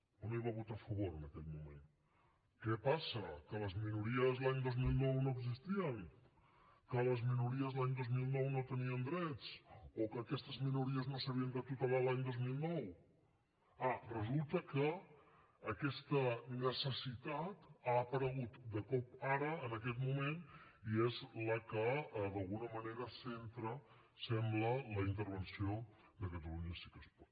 o no hi va a votar a favor en aquell moment què passa que les minories l’any dos mil nou no existien que les minories l’any dos mil nou no tenien drets o que aquestes minories no s’havien de tutelar l’any dos mil nou ah resulta que aquesta necessitat ha aparegut de cop ara en aquest moment i és la que d’alguna manera centra sembla la intervenció de catalunya sí que es pot